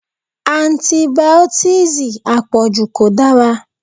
Antibìọ́tììsì àpọ̀jù kò dára.